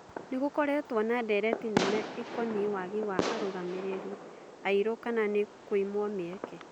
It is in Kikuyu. Nĩ gũkoretwo na ndereti nene ĩ koniĩ wagi wa arũgamĩ rĩ ri airũ kana nĩ kũimwo mĩ eke